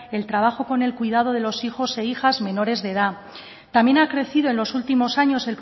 el trabajo con el cuidado de los hijos e hijas menores de edad también ha crecido en los últimos años